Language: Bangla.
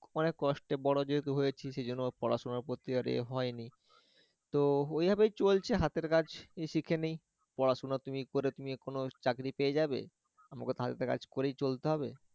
অনেক কষ্টে বড় যেহেতু হয়েছে সেইজন্য পড়াশোনার প্রতি আর এ হয়নি, তো এভাবেই চলছে হাতের কাজ শিখে নেই পড়াশোনা তুমি কোন করে তুমি কোন চাকরি পেয়ে যাবে, আমাগের তো হাতের কাজ করেই চলতে হবে